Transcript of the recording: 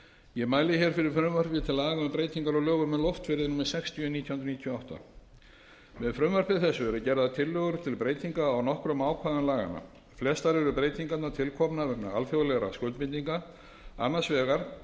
ég mæli hér fyrir frumvarpi til laga um breytingu á lögum um loftferðir númer sextíu nítján hundruð níutíu og átta með frumvarpi þessu eru gerðar tillögur til breytinga á nokkrum ákvæðum laganna flestar eru breytingarnar tilkomnar vegna alþjóðlegra skuldbindinga annars vegar